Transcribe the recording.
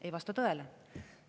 Ei vasta tõele!